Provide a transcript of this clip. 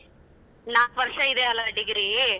ನಾಲ್ಕ ವರ್ಷ ಇದಿಯಲ್ವ degree.